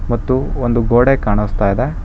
ಮತ್ತು ಒಂದು ಗೋಡೆ ಕಾಣಸ್ತಾ ಇದೆ.